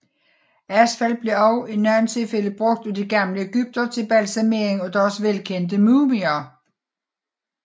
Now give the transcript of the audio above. Asfalt blev også i nogle tilfælde brugt af de gamle egyptere til balsamering af deres velkendte mumier